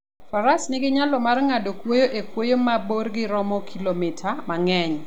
Faras nigi nyalo mar ng'ado kwoyo e kwoyo ma borgi romo kilomita mang'eny.